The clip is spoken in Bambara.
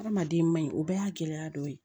Hadamaden maɲi o bɛɛ y'a gɛlɛya dɔ ye